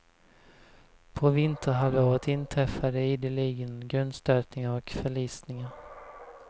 På vinterhalvåret inträffade ideligen grundstötningar och förlisningar.